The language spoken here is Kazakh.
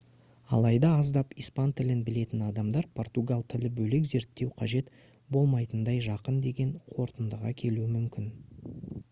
алайда аздап испан тілін білетін адамдар португал тілі бөлек зерттеу қажет болмайтындай жақын деген қорытындыға келуі мүмкін